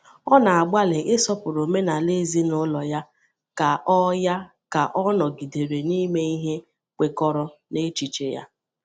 Ọ na-agbalị isọpụrụ omenala ezinụlọ ya ka ọ ya ka ọ nọgidere n’ime ihe kwekọrọ n’echiche ya.